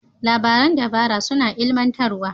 Labaran dabara suna ilimantarwa.